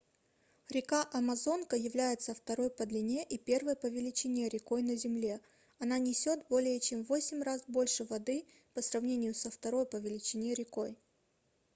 река амазонка является второй по длине и первой по величине рекой на земле она несёт более чем в 8 раз больше воды по сравнению со второй по величине рекой